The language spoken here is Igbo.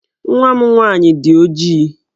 Nwa m nwaanyị dị ojii.